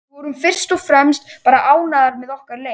Við vorum fyrst og fremst bara ánægðar með okkar leik.